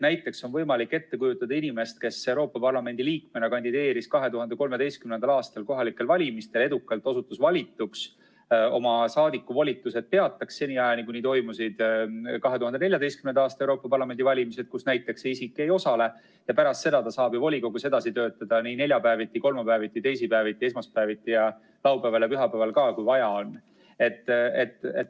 Näiteks on võimalik ette kujutada inimest, kes Euroopa Parlamendi liikmena kandideeris 2013. aastal kohalikel valimistel edukalt, osutus valituks, peatas oma saadikuvolitused, kuni toimusid 2014. aasta Euroopa Parlamendi valimised, kus näiteks see isik ei osale, ja pärast seda ta saab ju volikogus edasi töötada nii neljapäeviti, kolmapäeviti, teisipäeviti, esmaspäeviti ja laupäeval ja pühapäeval ka, kui vaja on.